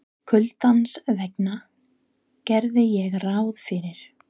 Kuldans vegna geri ég ráð fyrir.